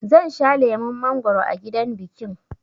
Zan sha lemon mangwaro a gidan bikin